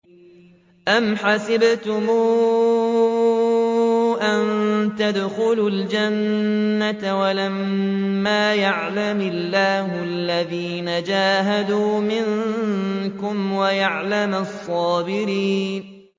أَمْ حَسِبْتُمْ أَن تَدْخُلُوا الْجَنَّةَ وَلَمَّا يَعْلَمِ اللَّهُ الَّذِينَ جَاهَدُوا مِنكُمْ وَيَعْلَمَ الصَّابِرِينَ